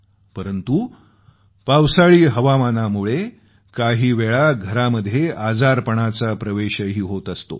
परंतु पावसाळी हवामानामुळं काही वेळेस घरामध्ये आजारपणाचा प्रवेशही होत असतो